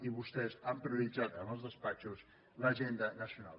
i vostès han prioritzat en els despatxos l’agenda nacional